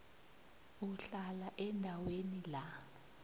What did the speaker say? uhlala endaweni la